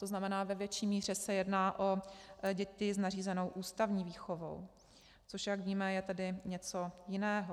To znamená, ve větší míře se jedná o děti s nařízenou ústavní výchovou, což jak víme, je tedy něco jiného.